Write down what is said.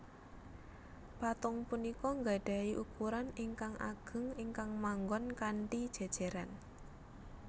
Patung punika nggadhahi ukuran ingkang ageng ingkang manggon kanthi jéjéran